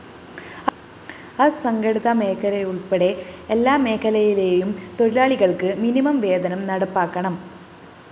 അസംഘടിത മേഖലയുള്‍പ്പെടെ എല്ലാമേഖലയിലെയും തൊഴിലാളികള്‍ക്ക് മിനിമം വേതനം നടപ്പാക്കണം